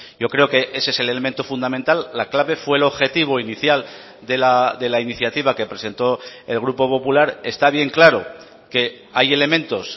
yo creo que ese es el elemento fundamental la clave fue el objetivo inicial de la iniciativa que presentó el grupo popular está bien claro que hay elementos